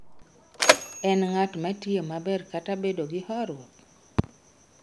En ng'at matiyo maber kata bedo gi horuok?